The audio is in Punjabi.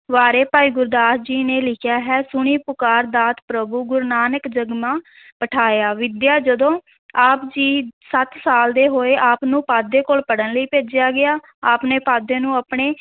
ਬਾਰੇ ਭਾਈ ਗੁਰਦਾਸ ਜੀ ਨੇ ਲਿਖਿਆ ਹੈ ਸੁਣੀ ਪੁਕਾਰਿ ਦਾਤ ਪ੍ਰਭੁ ਗੁਰੂ ਨਾਨਕ ਜਗ ਮਾਹਿ ਪਠਾਇਆ, ਵਿੱਦਿਆ ਜਦੋਂ ਆਪ ਜੀ ਸੱਤ ਸਾਲ ਦੇ ਹੋਏ, ਆਪ ਨੂੰ ਪਾਂਧੇ ਕੋਲ ਪੜ੍ਹਨ ਲਈ ਭੇਜਿਆ ਗਿਆ, ਆਪ ਨੇ ਪਾਂਧੇ ਨੂੰ ਆਪਣੀ